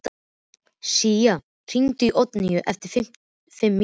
Sía, hringdu í Oddlínu eftir fimm mínútur.